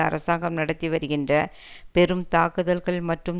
அரசாங்கம் நடத்தி வருகின்ற பெரும் தாக்குதல்கள் மற்றும்